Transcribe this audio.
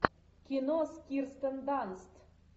кино с кирстен данст